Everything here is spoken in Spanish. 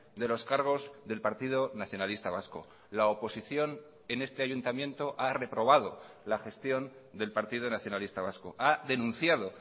de los cargos del partido nacionalista vasco la oposición en este ayuntamiento ha reprobado la gestión del partido nacionalista vasco ha denunciado